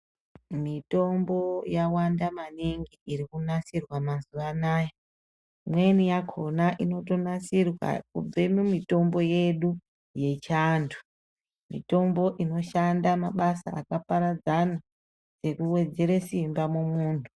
Mitombo yawanda maningi irikunasirwa mazuwanaya , imweni yakona inotonasirwa kubve mumitombo yedu yechiantu , mitombo inoshanda mabasa akaparadzana ekuwedzere simba mumuntu.